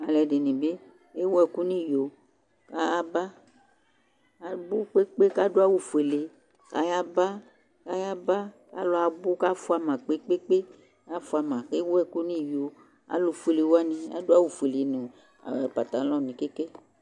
Alu ɛɖɩnɩ bɩ ewu ɛku nu ɩyo , a ayaba Abu kpe kpe aɖu awu foele, ayaba, ayaba, alu abu kafua ma kpe kpe kpe, afua ma, ewu ɛku niyo Alu foele wanɩ aɖu awu foele nu patalõ nɩ keke